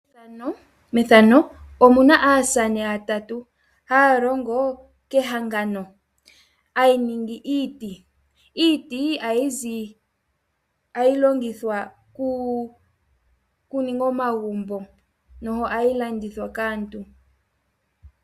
Methano omuna aasamane ya tatu haa longo kehangano a yi ningi iiti. Iiti ohayi longithwa oku ninga omagumbo no hayi landithwa kaantu.